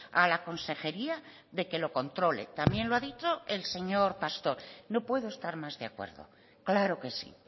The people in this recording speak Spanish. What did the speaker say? a la consejería de que lo controle también lo ha dicho el señor pastor no puedo estar más de acuerdo claro que sí